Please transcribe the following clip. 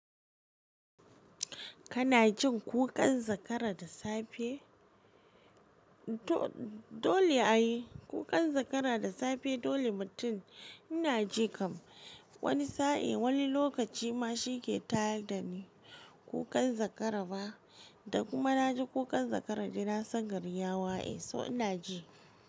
Kana jin ƙuƙan zakara da safe? Dole ai ƙuƙan zakara da safe dole mutum ina ji kam. Wani sa'e wani lokaci ma shi ke tayar dani kukan zakara ba, da kuma na ji kukan zakara dai na san gari ya waye, so ina ji.